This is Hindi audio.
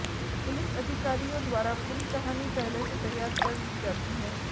पुलिस अधिकारियों द्वारा पूरी कहानी पहले से तैयार कर ली जाती है